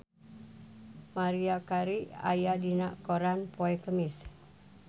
Maria Carey aya dina koran poe Kemis